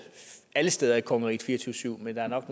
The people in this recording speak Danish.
alle steder i kongeriget fire og tyve syv men der er nok